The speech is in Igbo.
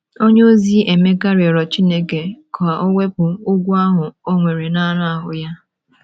onyeozi Emeka rịọrọ Chineke ka o wepụ ogwu ahụ o nwere n’anụ ahụ́ ya.